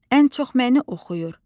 Ən çox məni oxuyur.